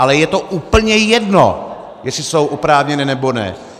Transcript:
Ale je to úplně jedno, jestli jsou oprávněné, nebo ne.